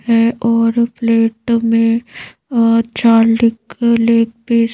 है और प्लेट में --